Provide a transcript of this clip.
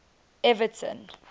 everton